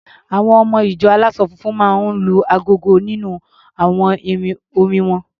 Àwọn ọmọ-ìjọ aláṣọ funfun máa ń lu agogo nínú àwọn orin won.